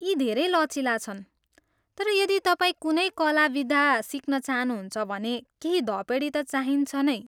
यी धेरै लचिला छन् तर यदि तपाईँ कुनै कला विधा सिक्न चाहनुहुन्छ भने केही धपेडी त चाहिन्छ नै।